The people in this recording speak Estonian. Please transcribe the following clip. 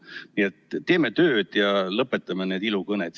Nii et teeme tööd ja lõpetame need ilukõned.